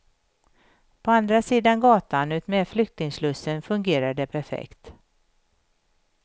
På andra sidan gatan utmed flyktingslussen fungerar det perfekt.